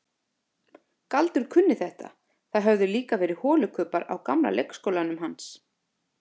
Galdur kunni þetta, það höfðu líka verið holukubbar á gamla leikskólanum hans.